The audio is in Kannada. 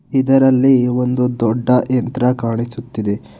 ಇದರಲ್ಲಿ ಒಂದು ದೊಡ್ಡ ಯಂತ್ರ ಕಾಣಿಸುತ್ತಿದೆ.